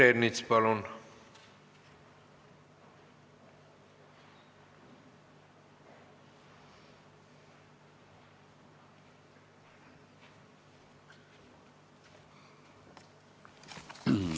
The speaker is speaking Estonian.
Peeter Ernits, palun!